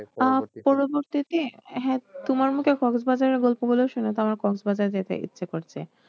পরবর্তীতে হ্যাঁ তোমার মুখে গল্প গুলো শুনে তো আমার যেতে ইচ্ছে করছে।